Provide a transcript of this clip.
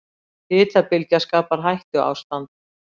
Hitabylgja skapar hættuástand